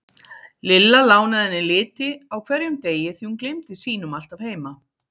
Lilla lánaði henni liti á hverjum degi því hún gleymdi sínum alltaf heima.